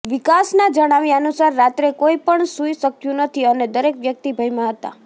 વિકાસના જણાવ્યા અનુસાર રાત્રે કોઈ પણ સુઇ શક્યું નથી અને દરેક વ્યક્તિ ભયમાં હતા